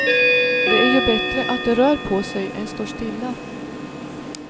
Det är ju bättre att det rör på sig än står stilla.